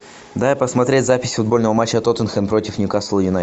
дай посмотреть запись футбольного матча тоттенхэм против ньюкасл юнайтед